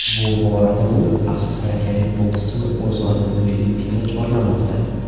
Bu borada u avstraliyalik boskchini o‘z vatani Filippinga chorlamoqda.